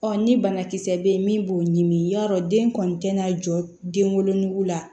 ni banakisɛ bɛ yen min b'o ɲimi i y'a dɔn den kɔni tɛna jɔ den wolonugu la